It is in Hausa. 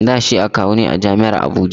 Da shi akawu ne a jam'iar Abuja